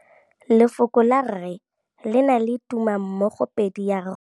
Lefoko la rre, le na le tumammogôpedi ya, r.